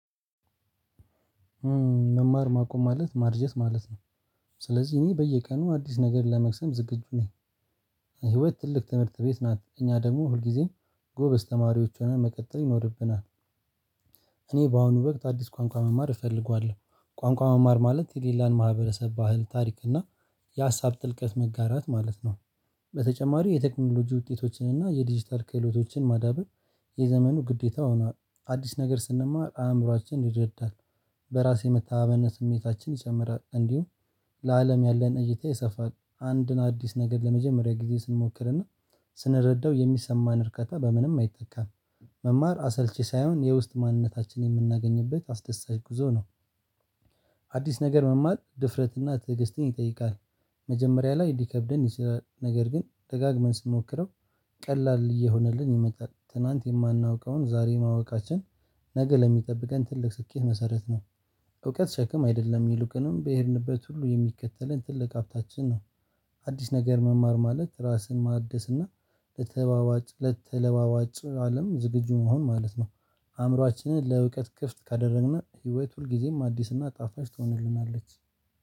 መማር ማቆም ማለት ማርጀት ማለት ነው። ስለዚህ እኔ በየቀኑ አዲስ ነገር ለመቅሰም ዝግጁ ነኝ። ህይወት ትልቅ ትምህርት ቤት ናት እኛ ደግሞ ሁልጊዜም ጎበዝ ተማሪዎች ሆነን መቀጠል ይኖርብናል። እኔ በአሁኑ በቅጥ አዲስ ቋንቋ መማር እፈልገዋለሁ። ቋንቋ መማር ማለት የሌላን ማህበረሰብ ባህል ታሪክ እና የሀሳብ ጥልቀት መጋራት ማለት ነው። በተጨማሪ የቴክኖሎጂ ውጤቶችን እና የዲጂታል ክህሎቶችን ማዳበር የዘመኑ ግዴታ ሆኗል። አዲስ ነገር ስንማር አእምሮአችን ይረዳል። በራስ የመተማመን ስሜታችን ይጨምራል። እንዲሁም ለአለም ያለን እይታ ይሰፋል። አንድን አዲስ ነገር ለመጀመሪያ ጊዜ ስንሞክርና ስንረዳው የሚሰማን እርከታ በምንም አይተካም። መማር አሰልቺ ሳይሆን የውስጥ ማንነታችን የምናገኝበት አስደሳች ጉዞ ነው። አዲስ ነገር መማር ድፍረትና ትዕግስትን ይጠይቃል። መጀመሪያ ላይ ልከብደን ይችላል ነገር ግን ደጋግመን ስንሞክረው ቀላል እየሆነልን የመጣል ትናንት የማናውቀውን ዛሬ ማወቃችን። ነገ ለሚጠብቀን ትልቅ ስኬት መሰረት ነው። እውቀት ሸክም አይደለም የሉቅንም በሄድንበት ሁሉ የሚከተለን ትልቅ ሀብታችን ነው። አዲስ ነገር መማር ማለት ራስን ማደስና ለተለዋዋጭ አለም ዝግጁ መሆን ማለት ነው። አእምሮአችንን ለእውቀት ክፍት ካደረግን ህይወት ሁል ጊዜም አዲስና ጣፋጭ ትሆንልናለች።